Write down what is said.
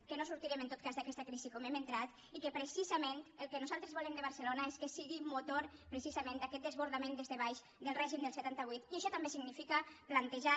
que no sortirem en tot cas d’aquesta crisi com hem entrat i que precisament el que nosaltres volem de barcelona és que sigui motor d’aquest desbordament des de baix del règim del setanta vuit i això també significa plantejar